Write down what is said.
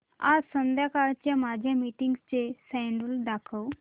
आज संध्याकाळच्या माझ्या मीटिंग्सचे शेड्यूल दाखव